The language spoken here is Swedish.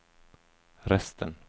resten